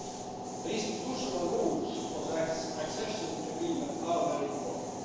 The institutional rules of the accession agreement are very important.